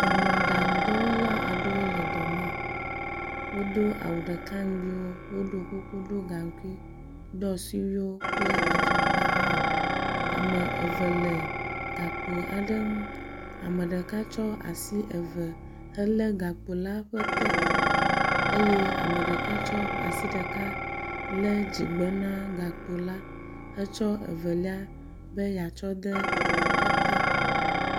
Mɔɖaŋu dɔwɔla aɖewo le dɔme. Wodo awu ɖeka nugbiwo, woɖo kuku ɖo gaŋkui ɖɔ suriwo kple afɔkpa hã. Ame eve le gakpo aɖe ŋu. Ame ɖeka tso asi eve helé gakpo la ƒe te eye ame ɖeka tsɔ asi ɖeka lé dzigbɔ na gakpo la hetsɔ evelia be yeatsɔ de ete.